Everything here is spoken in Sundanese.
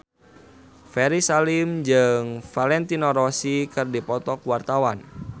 Ferry Salim jeung Valentino Rossi keur dipoto ku wartawan